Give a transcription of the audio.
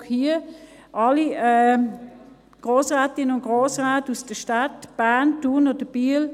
Ich frage hier alle Grossrätinnen und Grossräte aus den Städten Bern, Thun oder Biel: